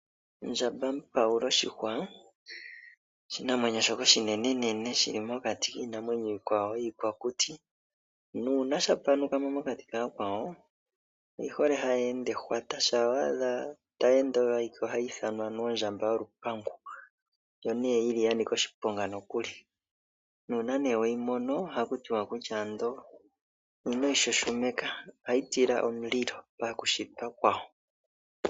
Ondjambapaula oshihwa, oshinamwenyo shoka oshinenenene shi mokati kiinamwenyo iikwawo mokuti, nuuna sha panukamo, mokati ka ya kwawo, oyi hole ha yi ende ehwata. Shaa wa adha ta yi ende oyo alike oha yi ithanwa ondjamba yolupangi, ndjo ne yi li ya nika oshiponga nokuli. Uuna we yi mono, oha ku tiwa ino yi shoshomeka, oshoka oha yi tila omundilo.